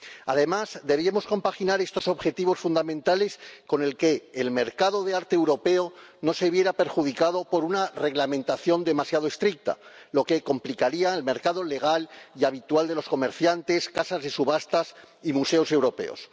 Además, debíamos compaginar estos objetivos fundamentales, para que el mercado de arte europeo no se viera perjudicado por una reglamentación demasiado estricta, lo que complicaría el mercado legal y habitual de los comerciantes, casas de subastas y museos europeos.